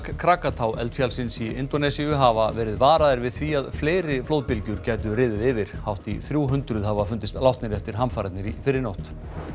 kraka tá eldfjallsins í Indónesíu hafa verið varaðir við því að fleiri flóðbylgjur gætu riðið yfir hátt í þrjú hundruð hafa fundist látnir eftir hamfarirnar í fyrrinótt